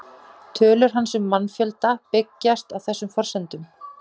Tölur hans um mannfjölda byggjast á þessum forsendum.